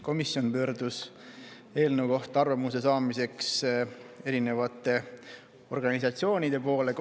Komisjon pöördus eelnõu kohta arvamuse saamiseks eri organisatsioonide poole.